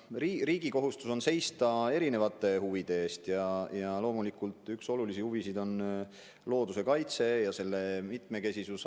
Riigi kohustus on seista erinevate huvide eest ja loomulikult üks olulisi huvisid on looduse kaitse ja selle mitmekesisus.